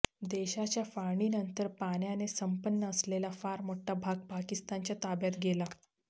देशाच्या फाळणीनंतर पाण्याने संपन्न असलेला फार मोठा भाग पाकिस्तानच्या ताब्यात गेला